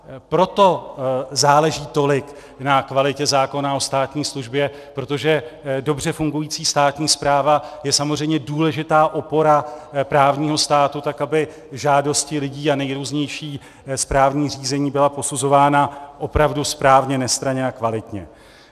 Proto záleží tolik na kvalitě zákona o státní službě, protože dobře fungující státní správa je samozřejmě důležitá opora právního státu, tak aby žádosti lidí a nejrůznější správní řízení byly posuzovány opravdu správně, nestranně a kvalitně.